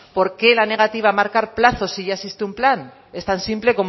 por qué la negativa a marcar plazos si ya existen un plan es tan simple